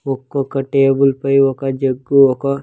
ఒక్కొక్క టేబుల్ పై ఒక జగ్గు ఒక.